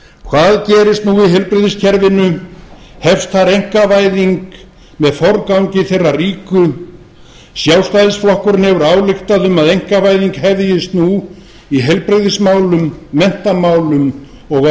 hvað gerist nú í heilbrigðiskerfinu hefst þar einkavæðing með forgangi þeirra ríku sjálfstæðisflokkurinn hefur ályktað um að einkavæðing hefjist nú í heilbrigðismálum menntamálum og